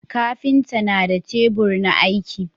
kafinta na da tebur na aiki